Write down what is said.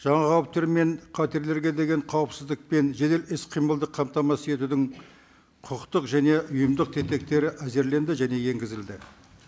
жаңа қауіптер мен қатерлерге деген қауіпсіздік пен жедел іс қимылды қамтамасыз етудің құқықтық және ұйымдық тетектері әзірленді және енгізілді